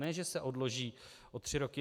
Ne že se odloží o tři roky.